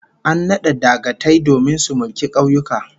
An nada dagatai domin su mulki kauyuka